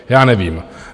Já nevím.